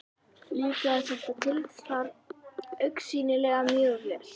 Líkaði þetta tilsvar augsýnilega mjög vel.